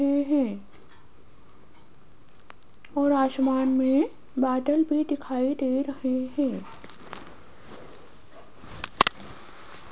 और आसमान में बादल भी दिखाई दे रहे हैं।